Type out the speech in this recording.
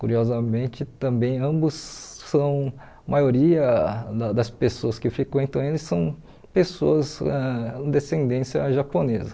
Curiosamente, também ambos são, a maioria da das pessoas que frequentam eles são pessoas ãh de descendência japonesa.